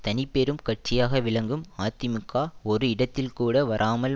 தனிப்பெரும் கட்சியாக விளங்கும் அதிமுக ஒரு இடத்தில்கூட வராமல்